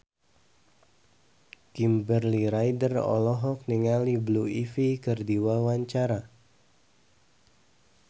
Kimberly Ryder olohok ningali Blue Ivy keur diwawancara